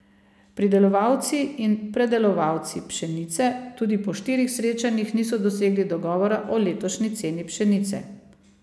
Pridelovalci in predelovalci pšenice tudi po štirih srečanjih niso dosegli dogovora o letošnji ceni pšenice.